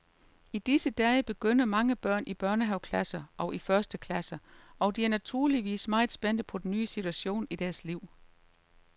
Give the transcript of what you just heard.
I disse dage begynder mange børn i børnehaveklasser og i første klasse, og de er naturligvis meget spændte på den nye situation i deres liv.